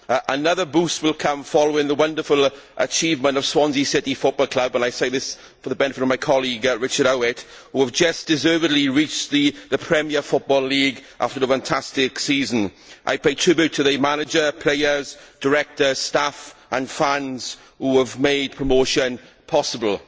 Another boost will come following the wonderful achievement of Swansea City Football Club and I say this for the benefit of my colleague Richard Howitt who have just deservedly reached the Premier Football League after a fantastic season. I pay tribute to the manager, players, directors, staff and fans who have made promotion possible.